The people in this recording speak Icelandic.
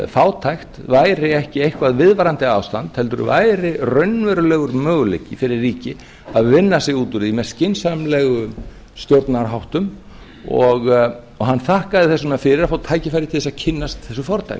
fátækt væri ekki eitthvert viðvarandi ástand heldur væri raunverulegur möguleiki fyrir ríki að vinna sig út úr því með skynsamlegum stjórnunarháttum og hann þakkaði þess vegna fyrir að fá að kynnast þessu fordæmi